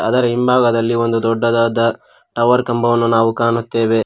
ಅದರ ಹಿಂಭಾಗದಲ್ಲಿ ಒಂದು ದೊಡ್ಡದಾದ ಟವರ್ ಕಂಬವನ್ನು ನಾವು ಕಾಣುತ್ತೆವೆ.